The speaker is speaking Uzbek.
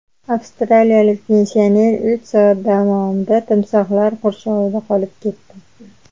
Avstraliyalik pensioner uch soat davomida timsohlar qurshovida qolib ketdi.